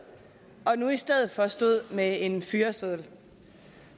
og nu i stedet for stod med en fyreseddel